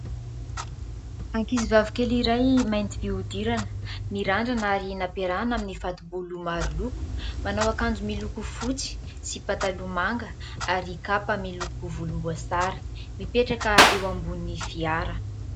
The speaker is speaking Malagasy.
Ankizy vavy kely iray mainty fihodirana mirandrana ary nampiarahana amin'ny fatobolo maro loko, manao akanjo miloko fotsy sy pataloha manga ary kapa miloko volomboasary mipetraka eo ambonin'ny fiara.